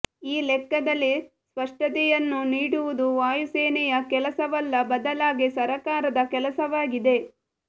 ಈ ಲೆಕ್ಕದಲ್ಲಿ ಸ್ಪಷ್ಟತೆಯನ್ನು ನೀಡುವುದು ವಾಯುಸೇನೆಯ ಕೆಲಸವಲ್ಲ ಬದಲಾಗಿ ಸರಕಾರದ ಕೆಲಸವಾಗಿದೆ